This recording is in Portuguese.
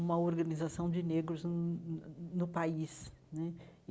uma organização de negros no no no país né.